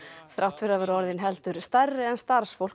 þrátt fyrir að vera orðin heldur stærri en starfsfólk